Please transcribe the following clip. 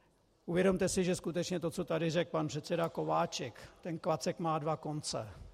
Uvědomte si, že skutečně to, co tady řekl pan předseda Kováčik - ten klacek má dva konce.